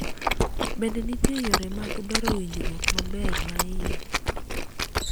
bende nitie yore mag bero winjruok maber ma iye?